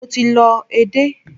Mo ti lọ edé.